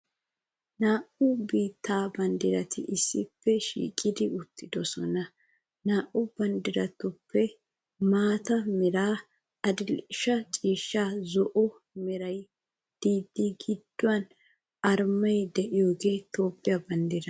Naa'u biittaa banddirati issippe shiiqidi uttidosona. Naa'u banddiratuppe maata meraa, adil'e ciishshaanne zo'o meraara de'idi gidduwan arumay de'iyogee Toophphiyaa banddiraa.